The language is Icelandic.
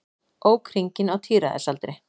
Ók hringinn á tíræðisaldri